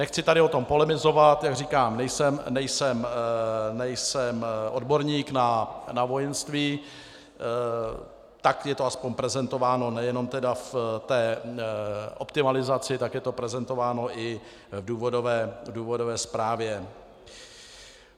Nechci tady o tom polemizovat, jak říkám, nejsem odborník na vojenství, tak je to aspoň prezentováno nejenom v té optimalizaci, tak je to prezentováno i v důvodové zprávě.